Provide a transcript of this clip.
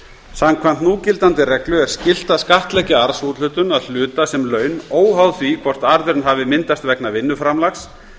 samkvæmt núgildandi reglu er skylt að skattleggja arðsúthlutun að hluta sem laun óháð því hvort arðurinn hafi myndast vegna vinnuframlags